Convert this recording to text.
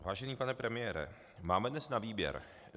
Vážený pane premiére, máme dnes na výběr.